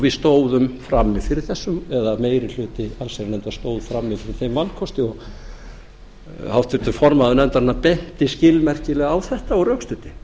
við stóðum frammi fyrir þessu eða meiri hluti allsherjarnefndar stóð frammi fyrir þeim valkosti og háttvirtur formaður nefndarinnar benti skilmerkilega á þetta og rökstuddi